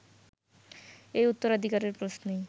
এই উত্তরাধিকারের প্রশ্নেই